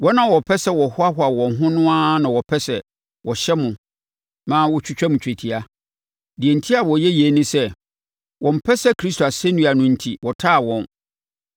Wɔn a wɔpɛ sɛ wɔhoahoa wɔn ho no ara na wɔpɛ sɛ wɔhyɛ mo ma motwitwa twetia. Deɛ enti a wɔyɛ yei ne sɛ, wɔmpɛ sɛ Kristo asɛnnua no enti wɔtaa wɔn.